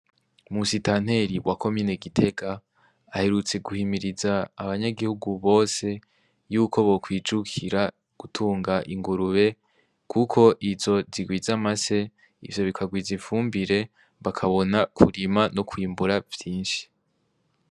Musitanteri wa komine gitega, aherutse guhimiriza abanyagihugu bose, yuko bokwijukira gutunga ingurube, kuko izo zigwiza amase ,ivyo bikagwiz 'ifumbire tukabona kurima no kwimbura vyinshi